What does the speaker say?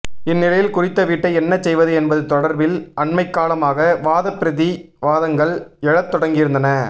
இந்நிலையில் குறித்த வீட்டை என்ன செய்வது என்பது தொடர்பில் அண்மைக்காலமாக வாதப் பிரதி வாதங்கள் எழத் தொடங்கியிருந்தன